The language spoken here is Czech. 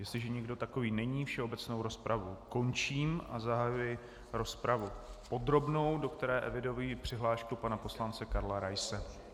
Jestliže nikdo takový není, všeobecnou rozpravu končím a zahajuji rozpravu podrobnou, do které eviduji přihlášku pana poslance Karla Raise.